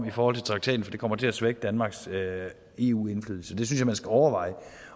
i forhold til traktaten for det kommer til at svække danmarks eu indflydelse det synes jeg man skal overveje